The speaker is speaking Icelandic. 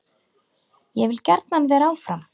Ég vil gjarnan vera áfram.